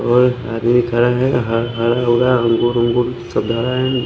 और आदमी खरा है हर हर होरा अंगूर अंगूर--